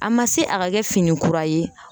A ma se a ka kɛ fini kura ye